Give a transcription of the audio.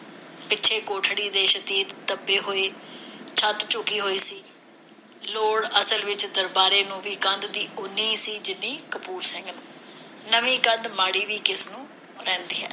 ਪਿੱਛੋਂ ਕੋਠੜੀ ਦੇ ਸ਼ਤੀਰ ਦਬੇ ਹੋਏ ਤੇ ਛੱਤ ਝੁਕੀ ਹੋਈ ਸੀ। ਲੋੜ, ਅਸਲ ਵਿਚ, ਦਰਬਾਰੇ ਨੂੰ ਵੀ ਕੰਧ ਦੀ ਓਨੀ ਹੀ ਸੀ, ਜਿੰਨੀ ਕਪੂਰ ਸਿੰਘ ਨੂੰ। ਨਵੀਂ ਕੰਧ ਮਾੜੀ ਵੀ ਕਿਸਨੂੰ ਰਹਿੰਦੀ ਹੈ?